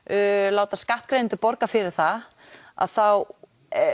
láta skattgreiðendur borga fyrir það að þá